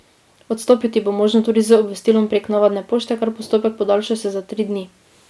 Odstopiti bo možno tudi z obvestilom prek navadne pošte, kar postopek podaljša še za tri dni.